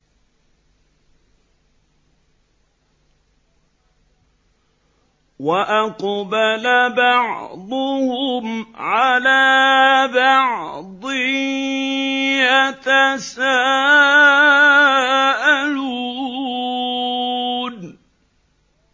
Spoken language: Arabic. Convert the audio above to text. وَأَقْبَلَ بَعْضُهُمْ عَلَىٰ بَعْضٍ يَتَسَاءَلُونَ